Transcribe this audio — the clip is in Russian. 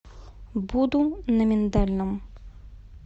буду на миндальном